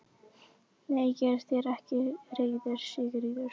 Nei, ég er þér ekki reiður Sigríður.